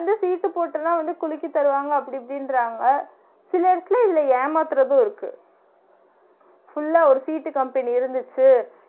வந்து சீட்டு போட்டுலா வந்து குலுக்கி தருவாங்க அப்டி இப்டின்றாங்க சிலருக்கு இதுல ஏமாத்துறது இருக்கு full ஆ ஒரு சீட்டு கம்பெனி இருந்திச்சு